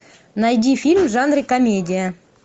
найди фильм в жанре комедия